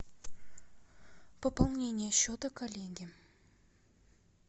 пополнение счета коллеге